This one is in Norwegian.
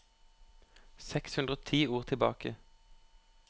Seks hundre og ti ord tilbake